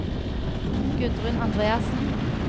Gudrun Andreassen